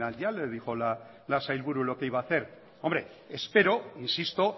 ya le dijo la sailburu lo que iba a hacer hombre espero insisto